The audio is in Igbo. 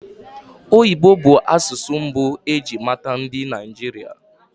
Oyibo bụ asụsụ mbụ eji mata ndị Naịjirịa